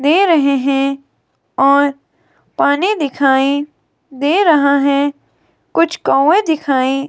दे रहे हैं और पानी दिखाई दे रहा है कुछ कौवे दिखाई--